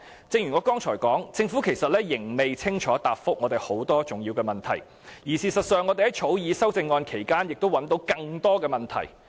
正如我剛才所說，政府其實仍未清楚答覆我們很多重要的問題。事實上，我們在草擬修正案期間發現更多問題。